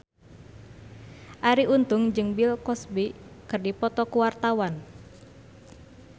Arie Untung jeung Bill Cosby keur dipoto ku wartawan